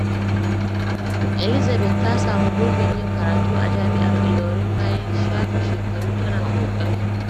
Elizabeth ta sami gurbin yin karatu a Jami’ar Ilorin bayan shafe shekaru tana ƙoƙari.